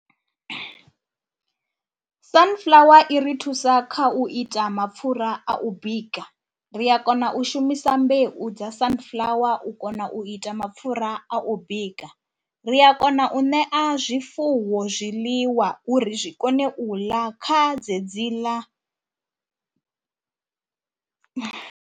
Sunflower i ri thusa kha u ita mapfhura a u bika, ri a kona u shumisa mbeu dza Sunflower u kona u ita mapfhura a u bika. Ri ya kona u ṋea zwifuwo zwiḽiwa uri zwi kone u ḽa kha dzedziḽa.